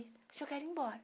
só quero ir embora.